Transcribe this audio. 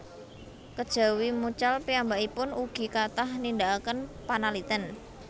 Kejawi mucal piyambakipun ugi kathah nindakaken panaliten